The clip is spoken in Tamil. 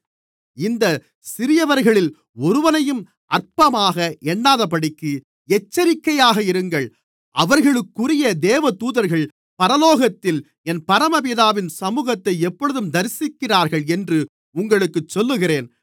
இந்தச் சிறியவர்களில் ஒருவனையும் அற்பமாக எண்ணாதபடிக்கு எச்சரிக்கையாக இருங்கள் அவர்களுக்குரிய தேவதூதர்கள் பரலோகத்திலே என் பரமபிதாவின் சமுகத்தை எப்போதும் தரிசிக்கிறார்கள் என்று உங்களுக்குச் சொல்லுகிறேன்